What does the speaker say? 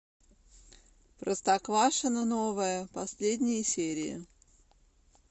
простоквашино новое последние серии